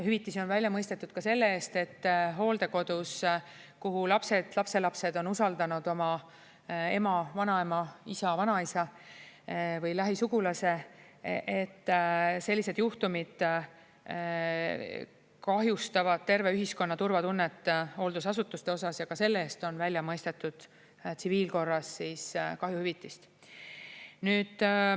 Hüvitisi on välja mõistetud ka selle eest, et hooldekodus, kuhu lapsed või lapselapsed on usaldanud oma ema, vanaema, isa, vanaisa või lähisugulase, sellised juhtumid kahjustavad terve ühiskonna turvatunnet hooldusasutuste puhul ja ka selle eest on välja mõistetud tsiviilkorras kahjuhüvitist.